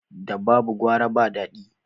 Da babu gwara ba dadi